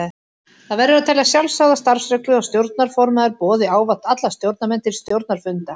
Það verður að telja sjálfsagða starfsreglu að stjórnarformaður boði ávallt alla stjórnarmenn til stjórnarfunda.